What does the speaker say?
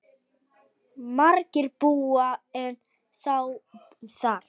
Margir búa ennþá þar.